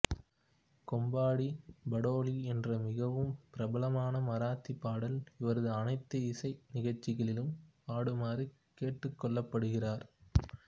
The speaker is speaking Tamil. கொம்படி படாலி என்ற மிகவும் பிரபலமான மராத்தி பாடல் இவரது அனைத்து இசை நிகழ்சிகளிலும் பாடுமாறு கேட்டுக்கொள்ளப்படுகிறார்